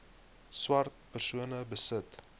swart persone besit